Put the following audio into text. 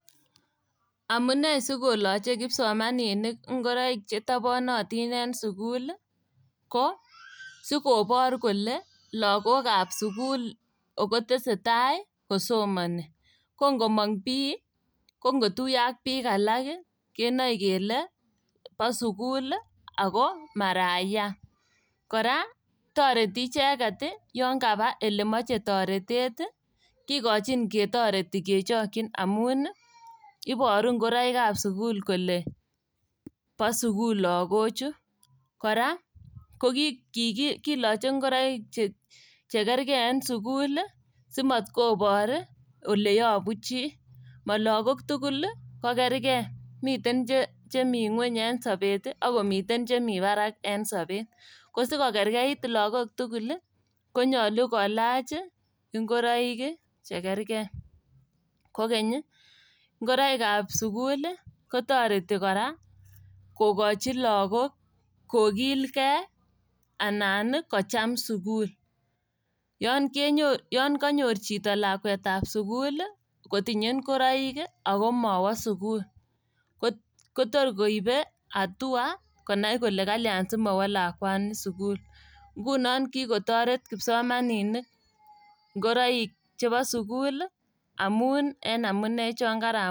Amune sikoloche kipsomaninik ngoroik chetoponotin en sukul ko sikobor kole logokab sukul ogo tesetai kosomoni. Kongomong' bii ko ngo kotuyo ak biik alak kenoe kele bo sukul ii ago maraia. Kora toreti icheket yon kaba ilemoche toretet ii , kikochin ketoreti kechokyin ii amun iboru ngoroikab sukul kele bo sukul logochu. Kora koki kiki kiloche chekerkei en sukul ii simotkobor ileyobu chii. Mologok tuguk ii kokerkei, miten chemi ngweny en sobet ii ak komiten chemi barak en sobet. Kosikokerkeit logok tugul konyolu kolach ngoroik ii chekerkei . Kokeny ii ngoroikab sukul ii kotoreti kora kokochi logok kokilgei anan kocham sukul. Yon kenyo yon Konyor chito lakwetab sukul kotinye ngoroik ii ago mowo sukul kotor koibe hatua konai kole kalian simowo lakwani sukul. Ngunon kikotoret kipsomaninik ngoroik chebo sukul ii amun en amune chon karamwa.